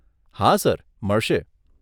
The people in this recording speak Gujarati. હા સર મળશે.